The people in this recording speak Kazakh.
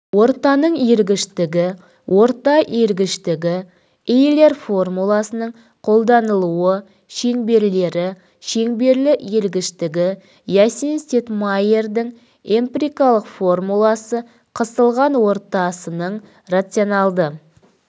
ортаның иілгіштігі орта иілгіштігі эйлер формуласының қолданылуы шеңберлері шеңберлі иілгіштігі ясинс-тетмайердің эмпирикалық формуласы қысылған ортасының рационалды